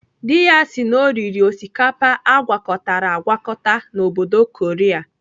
Dị ya sị na ọ riri osikapa agwakọtara agwakọta n'obodo Korea.